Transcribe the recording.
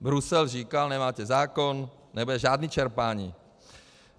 Brusel říkal: Nemáte zákon, nebude žádné čerpání.